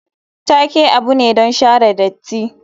Take abu ne don share datti.